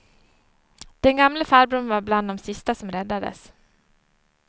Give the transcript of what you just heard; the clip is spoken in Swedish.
Den gamle farbrorn var bland de sista som räddades.